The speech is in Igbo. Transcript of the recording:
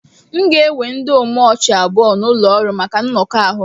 M ga-ewe ndị omochi abụọ n'ọrụ maka nnọkọ ahụ